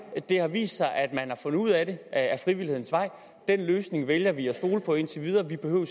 det har vist sig at man har fundet ud af det ad frivillighedens vej den løsning vælger vi at stole på indtil videre vi behøver